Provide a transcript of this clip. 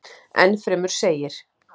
Enn fremur segir.